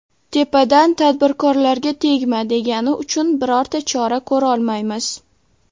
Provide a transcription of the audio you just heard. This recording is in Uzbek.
Tepadan ‘tadbirkorlarga tegma’ degani uchun birorta chora ko‘rolmaymiz.